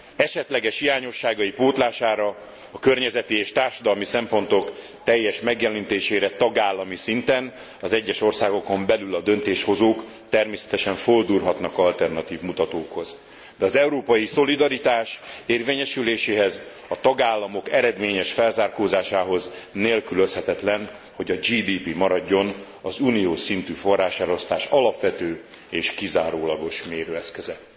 Esetleges hiányosságai pótlására a környezeti és társadalmi szempontok teljes megjelenítésére tagállami szinten az egyes országokon belül a döntéshozók természetesen fordulhatnak alternatív mutatókhoz, de az európai szolidaritás érvényesüléséhez, a tagállamok eredményes felzárkózásához nélkülözhetetlen, hogy a GDP maradjon az uniós szintű forráselosztás alapvető és kizárólagos mérőeszköze.